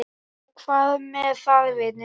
Og hvað með það, vinur?